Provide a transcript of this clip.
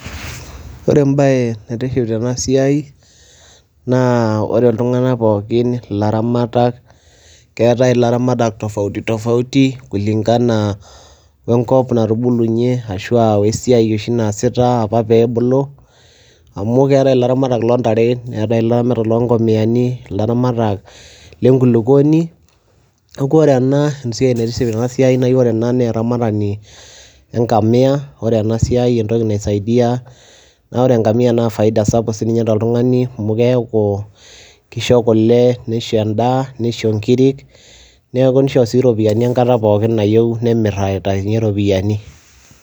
Ore embaye naitiship tena siai naa ore iltung'anak pookin ilaramatak, keetai ilaramatak tofauti tofauti kulingana we nkop natubulunye ashu a we siai oshi naasita apa peebulu amu keetai ilaramatak loo ntare, neetai ilaramatak loo ng'omiyani, ilaramatak le nkulukoni. Neeku ore ena esiai naitiship tena siai nai ore ena naa eramatani e ngamia, ore ena siai entoki naisaidia naa ore engamia naa faida sapuk sininye toltung'ani amu keeku kisho kule, nisho endaa, nisho nkirik, neeku nisho sii iropiani enkata nayeu nemir aitayunye iropiani.